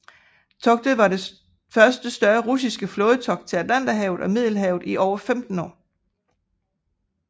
Togtet var det første større russiske flådetogt til Atlanterhavet og Middelhavet i over 15 år